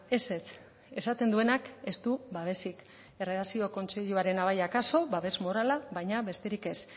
ezetz esaten duenak ez du babesik erredakzio kontseiluarena bai akaso babes morala baina besterik ez